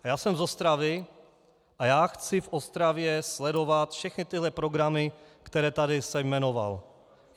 Já jsem z Ostravy a já chci v Ostravě sledovat všechny tyhle programy, které jsem tady jmenoval.